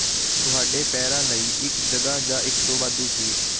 ਤੁਹਾਡੇ ਪੈਰਾਂ ਲਈ ਇੱਕ ਜਗ੍ਹਾ ਜਾਂ ਇੱਕ ਵਾਧੂ ਸੀਟ